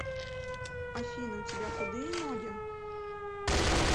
афина у тебя худые ноги